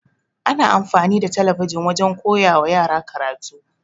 Ana amfani da talabijin wajen koyawa yara karatu.